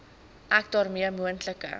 ek daarmee moontlike